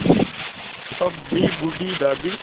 तब भी बूढ़ी दादी